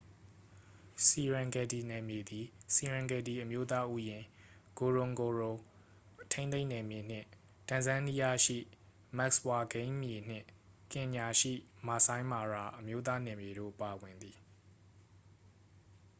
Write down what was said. serengeti နယ်မြေသည် serengeti အမျိုးသားဥယျာဉ် ngorongoro ထိန်းသိမ်းနယ်မြေနှင့် တန်ဇန်နီးယားရှိ မတ်စ်ဝါ ဂိမ်းမြေနှင့် ကင်ညာရှိ မာဆိုင်းမာရာ အမျိုးသား နယ်မြေတို့ပါဝင်သည်